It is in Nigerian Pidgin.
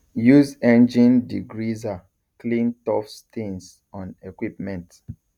use engine degreaser clean tough stains on equipment